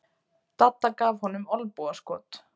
Dadda gaf honum olnbogaskot.